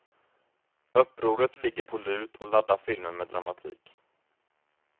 Upproret ligger på lut och laddar filmen med dramatik.